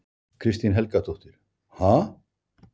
Kristín Helgadóttir: Ha?